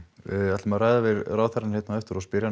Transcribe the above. við ætlum að ræða við ráðherrann á eftir og spyrja